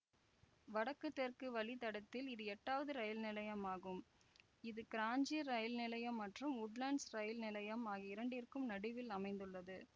வடக்கு தெற்கு வழித்தடத்தில் இது எட்டாவது ரயில் நிலையமாகும் இது கிராஞ்சி ரயில் நிலையம் மற்றும் உட்லண்ட்ஸ் ரயில் நிலையம் ஆகிய இரண்டிற்கும் நடுவில் அமைந்துள்ளது